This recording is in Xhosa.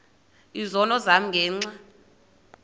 izono zam ngenxa